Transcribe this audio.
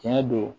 Tiɲɛ don